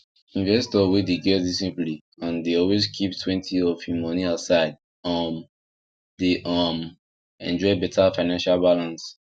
investor wey dey get disciplie and dey always keep twenty of him money aside um dey um enjoy better financial balance